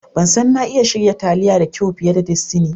Ban san na iya shirya taliya da kyau fiye da Destiny.